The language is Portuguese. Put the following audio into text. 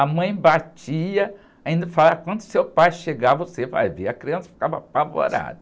A mãe batia, ainda falava, quando seu pai chegar, você vai ver, a criança ficava apavorada.